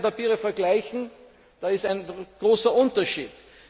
hat. Wenn Sie die beiden Papiere vergleichen, ist da ein großer Unterschied!